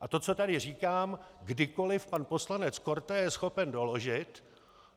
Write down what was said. A to, co tady říkám, kdykoli pan poslanec Korte je schopen doložit.